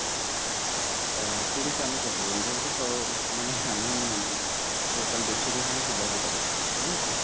ତ ଠିକ ଅଛି ଆମେ ମାନେ ଆମେ total ଦେଶକୁ ହିଁ ଆମେ ସୁଧାରୀ ପାରିବା ନାଇଁ କି